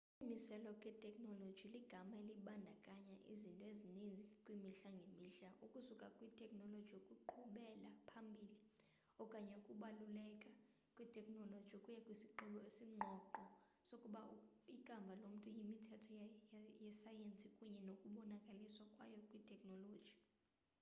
ukumiselwa kwetekhnoloji ligama elibandakanya izinto ezininzi kwimihla ngemihla ukusuka kwitekhnoloji yokuqhubela phambili okanye ukubaluleka kwetekhnoloji ukuya kwisigqibo esingqongqo sokuba ikamva lomntu yimithetho yesayensi kunye nokubonakaliswa kwayo kwitekhnoloji